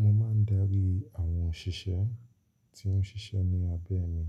Mo máa ń darí àwọn òṣìṣẹ́ tí ó ń ṣiṣẹ́ ní abẹ́ mi